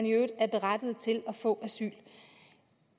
i øvrigt er berettigede til at få asyl